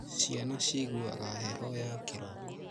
Ciana ciguaga heho ya kĩroko